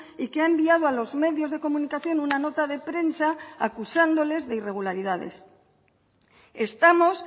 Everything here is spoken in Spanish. y que ha enviado a los medios de comunicación una nota de prensa acusándoles de irregularidades estamos